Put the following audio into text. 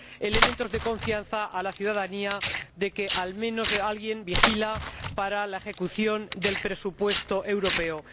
elementos de confianza a la ciudadanía de que, al menos, alguien vigila la ejecución del presupuesto europeo.